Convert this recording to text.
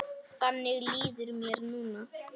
Þannig líður mér núna.